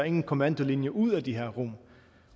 ingen kommandolinje ud fra de her rum